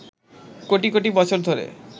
কোটি কোটি বছর ধরে